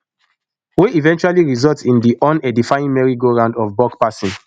wey eventually result in di unedifying merry go round of buck passing